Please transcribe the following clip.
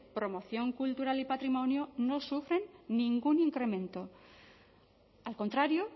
promoción cultural y patrimonio no sufren ningún incremento al contrario